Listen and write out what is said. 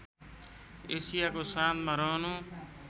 एसियाको साँधमा रहनु